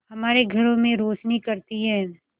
हमारे घरों में रोशनी करती है